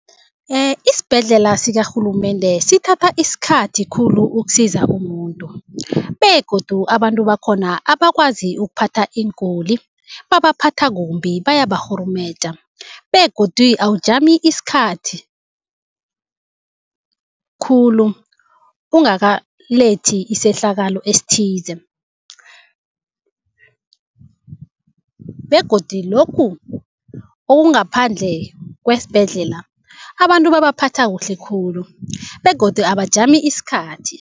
Isibhedlela sikarhulumende sithatha isikhathi khulu ukusiza umuntu begodu abantu bakhona abakwazi ukuphatha iinguli. Babaphatha kumbi, bayabarhurumeja begodi awujami isikhathi khulu ungakalethi isehlakalo esithize begodu lokhu okungaphandle kwesibhedlela, abantu babaphatha kuhle khulu begodu abajami isikhathi.